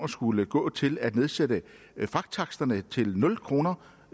skulle gå til at nedsætte fragttaksterne til nul kroner